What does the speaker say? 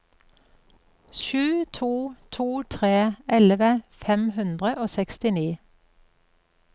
sju to to tre elleve fem hundre og sekstini